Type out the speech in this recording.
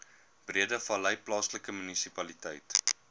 breedevallei plaaslike munisipaliteit